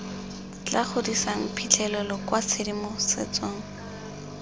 tla godisang phitlhelelo kwa tshedimosetsong